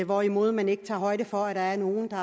hvorimod man ikke tager højde for at der er nogle der